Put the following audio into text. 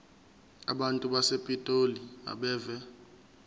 abantu basepitoli abeve